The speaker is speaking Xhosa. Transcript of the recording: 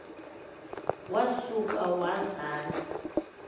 wa suka wazala